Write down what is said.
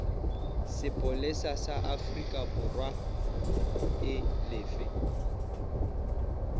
sepolesa sa aforikaborwa e lefe